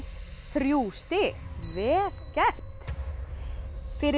þrjú stig vel gert fyrir